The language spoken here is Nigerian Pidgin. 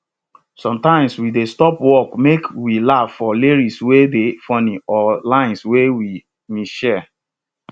sometimes we dey stop work make we laugh for lyrics wey dey funny or lines wey we mishear